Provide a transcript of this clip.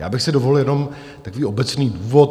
Já bych si dovolil jenom takový obecný úvod.